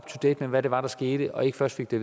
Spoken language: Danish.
to date med hvad det var der skete og ikke først fik det